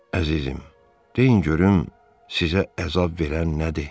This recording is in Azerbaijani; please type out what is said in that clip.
Əzizim, deyin görüm sizə əzab verən nədir?